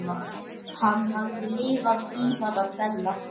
Hann hafði lifað tímana tvenna.